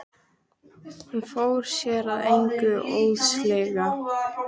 Hann fór sér að engu óðslega.